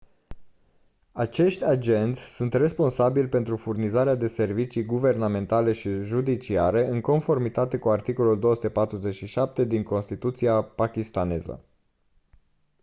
acești agenți sunt responsabili pentru furnizarea de servicii guvernamentale și judiciare în conformitate cu articolul 247 din constituția pakistaneză